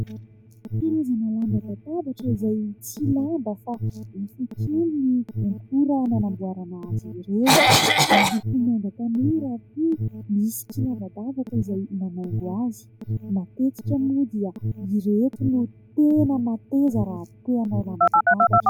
Karazana lamban-databatra izay tsy lamba fa hafakely ny akora nanamboarana azy ireo. Miloko manga tanora ary koa misy kilavadavaka izay manaingo azy. Matetika moa dia ireto no tena mateza raha te hanao lamban-databatra.